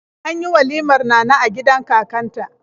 An yi walimar Nana a gidan kakanta.